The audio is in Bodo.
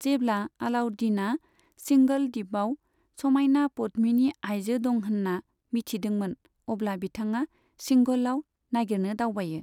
जेब्ला अलाउद्दिना सिंघल दिपयाव समाइना पद्मिनि आइजो दं होनना मिथिदोंमोन, अब्ला बिथांआ सिंघलयाव नागिरनो दावबायो।